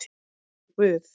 Eins og guð